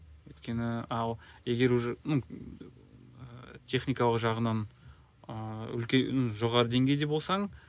өйткені ал егер уже ну ыыы техникалық жағынан ыыы ну жоғары деңгейде болсаң